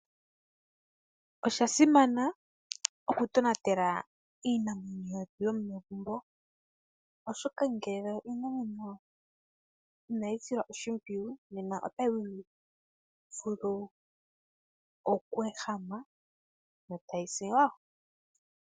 Oshasimana okutonatela iinamwenyo yomegumbo oshoka ngele inayi silwa oshimpwiyu nena otayi vulu okweehama yo tayi si wo.